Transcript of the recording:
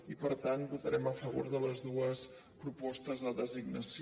i per tant votarem a favor de les dues propostes de designació